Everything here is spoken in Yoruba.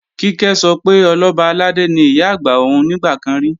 Kíkẹ́ sọ pé Ọlọ́ba àlàdé ni Ìyá-àgbà òun nígbà kan rí